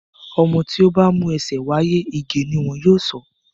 ọmọ tí ó bá mú ẹsẹ̀ wáyé, Ìgè ni wọn yóò sọ ọ́.